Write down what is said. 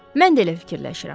Mən də elə fikirləşirəm.